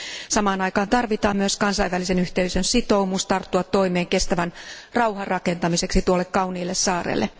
Samaan aikaan tarvitaan myös kansainvälisen yhteisön sitoumus tarttua toimeen kestävän rauhan rakentamiseksi tuolle kauniille saarelle.